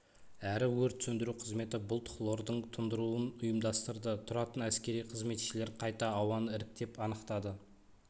әрі өрт сөндіру қызметі бұлт хлордың тұндыруын ұйымдастырды тұратын әскери қызметшілер қайта ауаны іріктеп анықтады